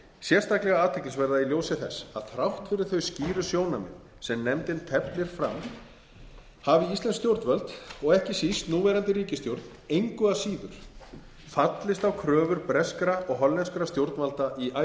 sérstaklega athyglisverða í ljósi þess að þrátt fyrir þau skýru sjónarmið sem nefndin teflir fram hafi íslensk stjórnvöld ekki síst núverandi ríkisstjórn engu að síður fallist á kröfur breskra og hollenskra stjórnvalda í icesave málinu